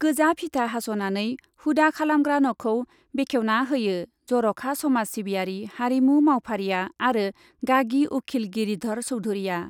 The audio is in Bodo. गोजा फिथा हास'नानै हुदा खालामग्रा न'खौ बेखेवना होयो जर'खा समाज सिबियारि, हारिमु मावफारिया आरो गागि उखिल गिरिधर चौधुरिआ।